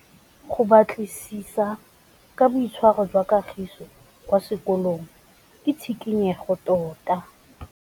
Go batlisisa ka boitshwaro jwa Kagiso kwa sekolong ke tshikinyêgô tota.